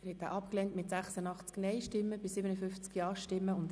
Sie haben diesen Antrag abgelehnt.